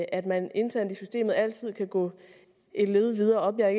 at man internt i systemet altid kan gå et led videre op jeg er